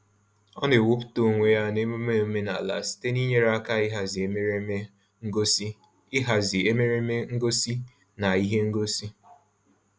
Ọ na-ewepụta onwe ya n'emune omenaala site n'inyere aka ịhazi emereme ngosi ịhazi emereme ngosi na ihe ngosi.